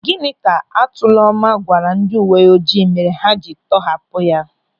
Gịnị ka Atụlọma gwara ndị uwe ojii mere ha jiri tọhapụ ya?